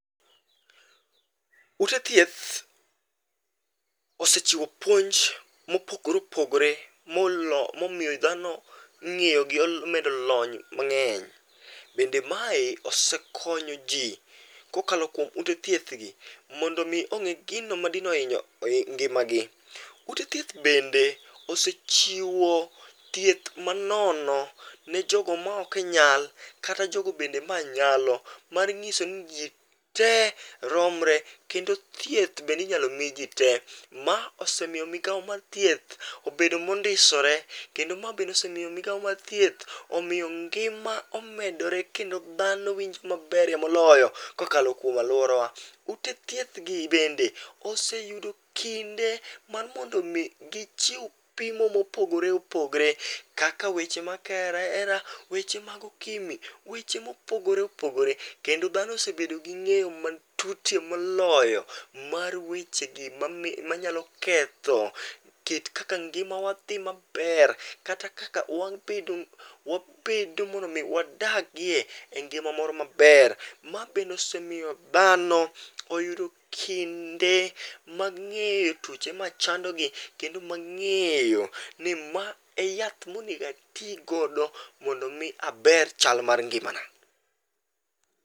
Ute thieth, osechiwo puonj mopogore opogore momiyo dhano ng'eyogi omedo lony mang'eny. Bende mae osekonyo ji, kokalo kuom ute thieth gi mondo omi ong'e gino madino ohinyo ngimagi. Ute thieth bende osechiwo thieth manono, ne jogo ma ok e nyal kata jogo bende ma anyalo mar ng'iso ni ji tee romre kendo thieth bende inyalo mi ji tee. Ma osemiyo migawo mar thieth obedo mondisore, kendo ma be osemiyo migawo mar thieth omiyo ngima omedore kendo dhano winjo maberie moloyo kokalo kuom alworawa. Ute thieth gi bende oseyudo kinde mar mondo omi gichiw pimo mopogore opogore, kaka weche mag kaeraera, weche mag okimi weche mopogore opogore kendo dhano osebedo gi ng'eyo matutye moloyo mar wechegi manyalo ketho kit kaka ngimawa dhi maber kata kaka wabedo wabedo mondo omi wadagie e ngima moro maber. Ma bende osemiyo dhano oyudo kinde, mag ng'eyo tuoche machandogi kendo mang'eyo ni ma e yath monego atigodo mondo omi aber chal mar ngimana.